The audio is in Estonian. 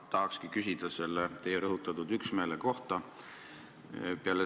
Ma tahakski küsida teie rõhutatud üksmeele kohta.